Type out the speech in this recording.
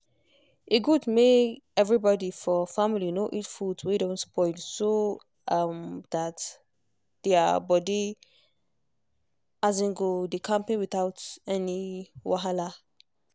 e good make everybody for family no eat food wey don spoil so um that their body um go dey kampe without any wahala. um